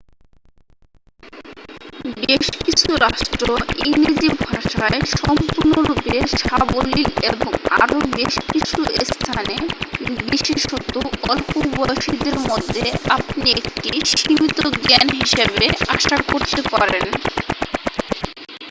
বেশ কিছু রাষ্ট্র ইংরেজি ভাষায় সম্পূর্ণরূপে সাবলীল এবং আরও বেশ কিছু স্থানে বিশেষত অল্প বয়সীদের মধ্যে আপনি একটি সীমিত জ্ঞান হিসাবে আশা করতে পারেন